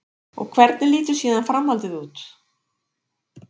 Og hvernig lítur síðan framhaldið út?